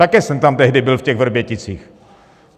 Také jsem tam tehdy byl v těch Vrběticích.